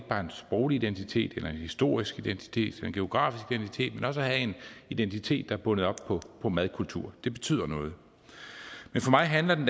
sproglig identitet en historisk identitet eller en geografisk identitet men også at have en identitet der er bundet op på madkultur det betyder noget men for mig handler